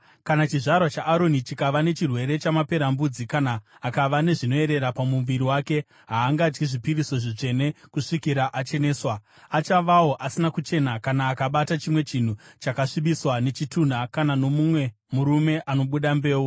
“ ‘Kana chizvarwa chaAroni chikava nechirwere chamaperembudzi kana akava nezvinoyerera pamuviri wake, haangadyi zvipiriso zvitsvene kusvikira acheneswa. Achavawo asina kuchena kana akabata chimwe chinhu chakasvibiswa nechitunha kana nomumwe murume anobuda mbeu,